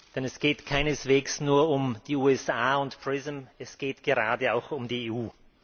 Denn es geht keineswegs nur um die USA und PRISM, es geht gerade auch um die EU.